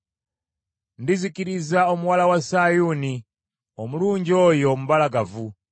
Ndizikiriza omuwala wa Sayuuni, omulungi oyo omubalagavu.